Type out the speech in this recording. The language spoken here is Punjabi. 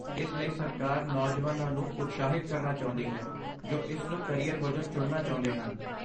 ਇਸ ਲਈ ਸਰਕਾਰ ਨੌਜਵਾਨਾਂ ਨੂੰ ਉਤਸ਼ਾਹਿਤ ਕਰਨਾ ਚਾਹੁੰਦੀ ਹੈ ਜੋ ਇਸ ਨੂੰ ਕਰੀਅਰ ਵਜੋਂ ਚੁਣਨਾ ਚਾਹੁੰਦੇ ਹਨ।